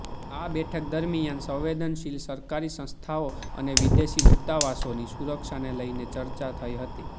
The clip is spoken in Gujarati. આ બેઠક દરમિયાન સંવેદનશીલ સરકારી સંસ્થાઓ અને વિદેશી દૂતાવાસોની સુરક્ષાને લઇને ચર્ચા થઇ હતી